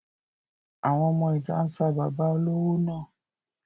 Àwọn ọmọ ìta ń sa bàbá olówó náà.